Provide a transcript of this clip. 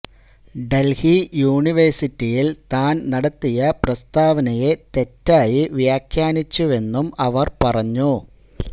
ഡൽഹി യൂണിവേഴ്സിറ്റിയിൽ താൻ നടത്തിയ പ്രസ്താവനയെ തെറ്റായി വ്യാഖ്യാനിച്ചുവെന്നും അവർ പറഞ്ഞു